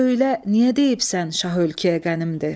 Söylə, niyə deyibsən şah ölkəyə qənimdir.